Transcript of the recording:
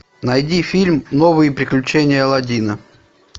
найди фильм новые приключения алладина